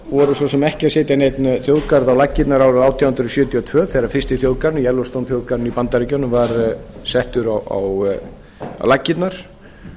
vorum svo sem ekkert að setja neinn þjóðgarð á laggirnar árið átján hundruð sjötíu og tvö þegar fyrsti þjóðgarðurinn yellowstone þjóðgarðurinn í bandaríkjunum var settur á laggirnar